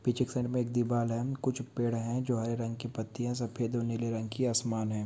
पीछे की साइड में एक दीवाल है कुछ पेड़ है जो हरे रंग की पत्तिया सफेद और नीले रंग की आसमान है।